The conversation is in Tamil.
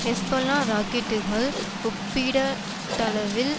ஹெஸ்பொல்லா ராக்கெட்டுக்கள் ஒப்பீடட்டளவில்